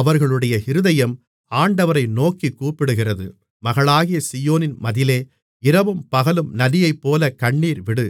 அவர்களுடைய இருதயம் ஆண்டவரை நோக்கிக் கூப்பிடுகிறது மகளாகிய சீயோனின் மதிலே இரவும் பகலும் நதியைப்போல கண்ணீர் விடு